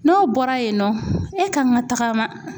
N'o bɔra yen nɔ e ka kan ka tagama